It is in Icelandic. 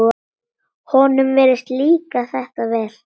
Honum virðist líka þetta vel.